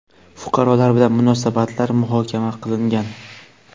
fuqarolar bilan munosabatlar muhokama qilingan.